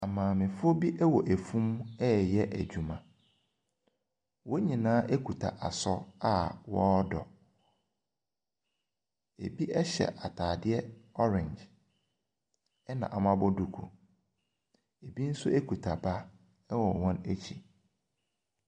Amaamefoɔ bi wɔ afum reyɛ adwuma. Wɔn nyinaa kuta asɔ a wɔredɔ. Ebi hyɛ ataadeɛ orange na wɔabɔ duku. Ebi nso kuta ba wɔ wɔn akyi.